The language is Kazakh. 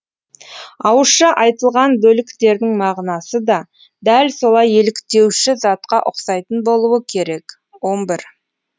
ауызша айтылған бөліктердің мағынасы да дәл солай еліктеуші затқа ұқсайтын болуы керек